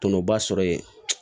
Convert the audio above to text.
Tɔnɔba sɔrɔ yen